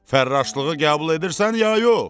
Fərraşlığı qəbul edirsən, ya yox?